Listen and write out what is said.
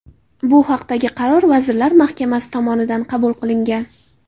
Bu haqdagi qaror Vazirlar Mahkamasi tomonidan qabul qilingan.